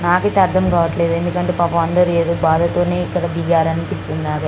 నాకు అయితే అర్ధం కావట్లే ఎందుకంటే పాపం అందరు ఏదో బాధతోని ఇక్కడ దిగారు అనిపిస్తున్నారు.